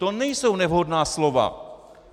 To nejsou nevhodná slova.